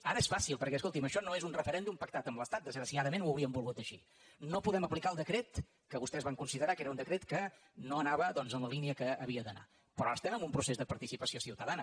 ara és fàcil perquè escolti’m això no és un referèndum pactat amb l’estat desgraciadament ho hauríem volgut així no podem aplicar el decret que vostès van considerar que era un decret que no anava en la línia que havia d’anar però ara estem en un procés de participació ciutadana